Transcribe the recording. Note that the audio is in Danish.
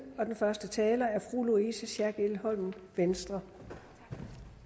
og den første taler er fru louise schack elholm venstre